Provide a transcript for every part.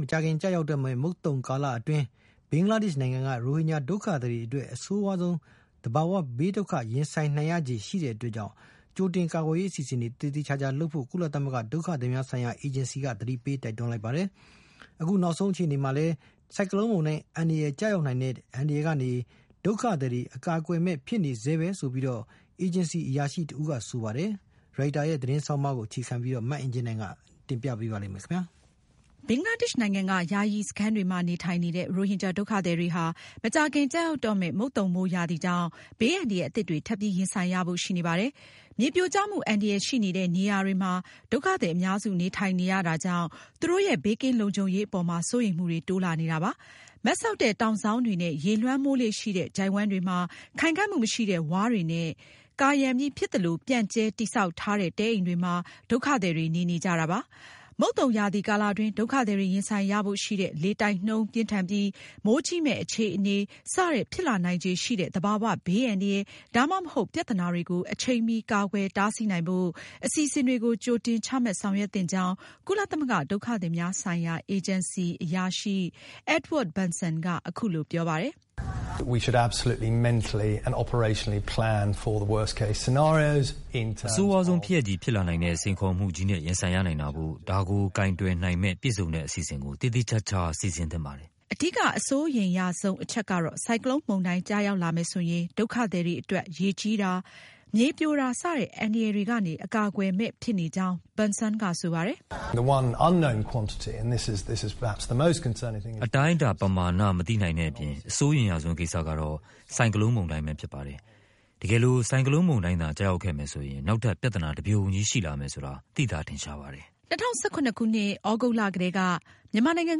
မကြာခင်ကျရောက်တော့မယ့် မုတ်သုန်ကာလအတွင်း ဘင်္ဂလားဒေ့ရှ်နိုင်ငံက ရိုဟင်ဂျာဒုက္ခသည်တွေအတွက် အဆိုးဝါးဆုံး သဘာဝဘေးဒုက္ခ ရင်ဆိုင်ရနိုင်ချေရှိတဲ့အတွက် ကြိုတင်ကာကွယ်ရေး အစီအစဉ်တွေ သေသေချာချာလုပ်ဖို့ ကုလသမဂ္ဂ ဒုက္ခသည်များဆိုင်ရာ အေဂျင်စီက သတိပေးလိုက်ပါတယ်။ အခုနောက်ဆုံးအခြေအနေမှာလည်း ဆိုင်ကလုန်မုန်တိုင်း အန္တရာယ်ကျရောက်နိုင်တဲ့ အန္တရာယ်ကနေ ဒုက္ခသည်တွေ အကာအကွယ်မဲ့ဖြစ်နေဆဲပဲလို့ အေဂျင်စီအရာရှိတဦးက ဆိုပါတယ်။ Reuters သတင်းဆောင်းပါးကို အခြေခံပြီး မအင်ကြင်းနိုင်က အပြည့်အစုံကို တင်ပြမှာပါ။ ဘင်္ဂလားဒေ့ရှ်နိုင်ငံက ယာယီစခန်းတွေမှာနေထိုင်နေတဲ့ ရိုဟင်ဂျာဒုက္ခသည်တွေ ဟာ မကြာခင် ကျရောက်တော့မယ့် မုတ်သုန်မိုးရာသီကြောင့် ဘေးအန္တရာယ် အသစ်တွေ ထပ်ပြီး ရင်ဆိုင်ရဖို့ ရှိနေပါတယ်။ မြေပြိုကျမှုအန္တရာယ်ရှိနေတဲ့ နေရာတွေမှာ ဒုက္ခသည်အများစုနေထိုင်နေကြတာကြောင့် သူတို့ရဲ့ ဘေးကင်းလုံခြုံရေးအပေါ်မှာ စိုးရိမ်မှုတွေ တိုးလာနေပါတယ်။ မတ်စောင့်တဲ့တောင်စောင်းတွေနဲ့ ရေလွှမ်းမိုးလေ့ရှိတဲ့ ချိုင့်ဝှမ်းတွေမှာ ခိုင်ခံမှုမရှိတဲ့ ဝါးတွေရဲ့ ကာရံပြီး ဖြစ်သလို ပြန့်ကျဲ တည်ဆောက်ထားတဲ့ တဲအိမ်တွေမှာ ဒုက္ခသည်တွေ နေနေကြတာပါ။ မုတ်သုန်ရာသီကာလတွင်း ဒုက္ခသည်တွေရင်ဆိုင်ရဖို့ရှိတဲ့ လေတိုက်နှုန်းပြင်းထန်ပြီး မိုးကြီးမယ့်အခြေအနေ စတဲ့ ဖြစ်လာနိုင်ချေရှိတဲ့ သဘာဝဘေးအန္တရာယ် ဒါမှမဟုတ် ပြဿနာတွေကို အချိန်မှီ ကာကွယ်တားဆီးနိုင်ဖို့ အစီအစဉ်တွေ ကြိုတင်ချမှတ်ဆောင်ရွက်သင့်ကြောင်း ကုလသမဂ္ဂ ဒုက္ခသည်များဆိုင်ရာ အေဂျင်စီက အရာရှိ Edward Benson က အခုလို အကြံပြုပါတယ်။ "အဆိုးဝါးဆုံး ဖြစ်ရပ်ကြီး ဖြစ်လာနိုင်တဲ့ စိန်ခေါ်မှုကြီးနဲ့ ရင်ဆိုင်ရနိုင်တာမို့ ဒါကိုကိုင်တွယ်နိုင်မယ့် ပြည့်စုံတဲ့ အစီအစဉ်ကို သေသေချာချာ စီစဉ်သင့်ပါတယ်။" အဓိက အစိုးရိမ်ရဆုံးအချက်ကတော့ ဆိုင်ကလုန်မုန်တိုင်းကျရောက်လာမယ်ဆိုရင် ဒုက္ခသည်တွေအတွက် ရေကြီးတာ၊ မြေပြိုတာ စတဲ့ အန္တရာယ်တွေကနေ အကာအကွယ်မဲ့ဖြစ်နေကြောင်း Benson ကဆိုပါတယ်။ "အတိုင်းအတာပမဏာမသိနိုင်တဲ့အပြင် အစိုးရိမ်ရဆုံး ကိစ္စကတော့ ဆိုင်ကလုန်မုန်တိုင်းပဲဖြစ်ပါတယ်။ တကယ်လို့သာ ဆိုင်ကလုန်မုန်တိုင်း ကျရောက်ခဲ့မယ်ဆိုရင် နောက်ထပ် ပြဿနာတပြုံကြီးရှိလာမယ်ဆိုတာ သိသာထင်ရှားပါတယ်။" ၂၀၁၇ခုနှစ် သြဂုတ်လကတည်းက မြန်မာနိုင်ငံ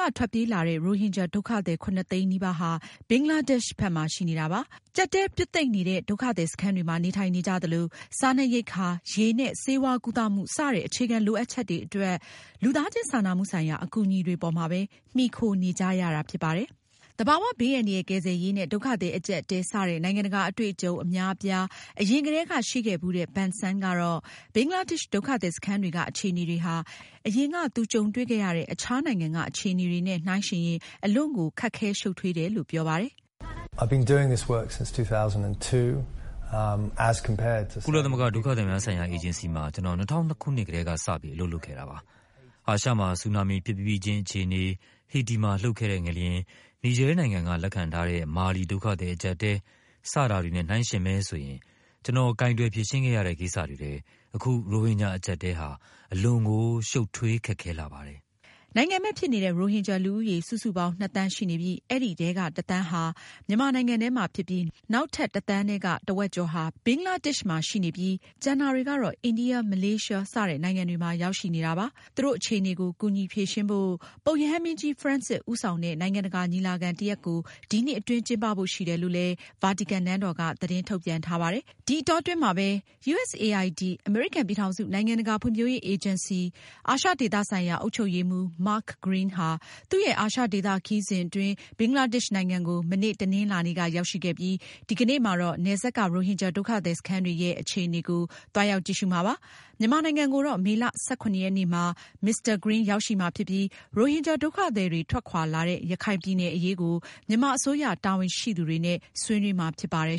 က ထွက်ပြေးလာတဲ့ ရိုဟင်ဂျာဒုက္ခသည် ၇၀၀,၀၀၀ နီးပါးလောက်ရှိနေတာပါ။ ကျပ်တည်းပြွတ်သိပ်နေတဲ့ ဒုက္ခသည်စခန်းတွေမှာ နေထိုင်နေကြသလို စားနပ်ရိက္ခာ၊ ရေနဲ့ ဆေးဝါးကုသမှု စတဲ့ အခြေခံလိုအပ်ချက်တွေအတွက် လူသားချင်းစာနာမှုဆိုင်ရာ အကူအညီတွေပေါ်မှာပဲ မှီခိုနေကြရတာဖြစ်ပါတယ်။ သဘာဝဘေးအန္တရာယ် ကယ်ဆယ်ရေးနဲ့ ဒုက္ခသည်အကျပ်အတည်း စတဲ့ နိုင်ငံတကာအတွေအကြုံအများအပြား အရင်ကတည်းကရှိခဲ့ဘူးတဲ့ Benson ကတော့ ဘင်္ဂလားဒေ့ရှ် ဒုက္ခသည်စခန်းတွေက အခြေအနေတွေဟာ အရင်က သူကြုံတွေ့ခဲ့တဲ့ အခြားနိုင်ငံက အခြေအနေတွေနဲ့ နှိုင်းယှဉ်ရင် အလွန်ကို ခက်ခဲရှုပ်ထွေးတယ်လို့ ပြောပါတယ်။ "ကုလသမဂ္ဂဒုက္ခသည်များဆိုင်ရာအေဂျင်စီမှာ ကျနော် ၂၀၀၂ ခုနှစ်ကတည်းက စပြီး အလုပ်လုပ်ခဲ့တာပါ။ အာရှမှာ ဆူနာမီဖြစ်ပြီးချင်း အခြေအနေ၊ ဟေတီမှာ လှုပ်ခဲ့တဲ့ ငလျှင်၊ Niger နိုင်ငံက လက်ခံထားတဲ့ မာလီ ဒုက္ခသည်အကျပ်အတည်း စတာတွေနဲ့ နှိုင်းယှဉ်မယ်ဆိုရင် ကျနော် ကိုင်တွယ်ဖြေရှင်းခဲ့တဲ့ ကိစ္စတွေထဲ အခု ရိုဟင်ဂျာအကျပ်အတည်းဟာ အလွန်ကို ရှုပ်ထွေးခက်ခဲလှပါတယ်။" နိုင်ငံမဲ့ ဖြစ်နေတဲ့ ရိုဟင်ဂျာ လူဦးရေ စုစုပေါင်း နှစ်သန်းရှိနေပြီး အဲဒီထဲက တသန်းဟာ မြန်မာနိုင်ငံထဲမှာ ဖြစ်ပြီး၊ နောက်ထပ် တသန်းထဲက တဝက်ကျော်ဟာ ဘင်္ဂလားဒေ့ရှ်မှာ ရှိနေပြီး ကျန်တာတွေကတော့ အိန္ဒိယ၊ မလေးရှား စတဲ့နိုင်ငံတွေမှာ ရောက်ရှိနေတာပါ။ သူတို့ အခြေအနေကို ကူညီဖြေရှင်းဖို့ ပုပ်ရဟန်းမင်းကြီး ဖရန့်စစ် ဦးဆောင်တဲ့ နိုင်ငံတကာညီလာခံတရပ်ကို ဒီနှစ်အတွင်း ကျင်းပဖို့ရှိတယ်လို့လည်း ဗာတီကန်နန်းတော်က သတင်းထုတ်ပြန်ထားပါတယ်။ ဒီအတောအတွင်းမှာပဲ USAID အမေရိကန်ပြည်ထောင်စု နိုင်ငံတကာဖွံဖြိုးရေး အေဂျင်စီ အာရှဒေသဆိုင်ရာ အုပ်ချုပ်ရေးမှူး Mark Green ဟာ သူရဲ့ အာရှဒေသခရီးစဉ်အတွင်း ဘင်္ဂလားဒေ့ရှ်နိုင်ငံကို မနေ့ တနင်္လာနေ့က ရောက်ရှိခဲ့ပြီး ဒီကနေ့မှာတော့ နယ်စပ်က ရိုဟင်ဂျာဒုက္ခသည်စန်းတွေရဲ့ အခြေအနေကို သွားရောက်ကြည့်ရှုမှာဖြစ်ပါတယ်။ မြန်မာနိုင်ငံကိုတော့ မေလ ၁၇ ရက်နေ့မှာ Mr. Green ရောက်ရှိမှာဖြစ်ပြီး ရိုဟင်ဂျာဒုက္ခသည်တွေ ထွက်ခွာလာတဲ့ ရခိုင်ပြည်နယ်အရေးကို မြန်မာအစိုးရ တာဝန်ရှိသူတွေနဲ့ ဆွေးနွေးမှာဖြစ်ပါတယ်